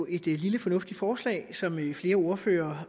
et lille fornuftigt forslag som flere ordførere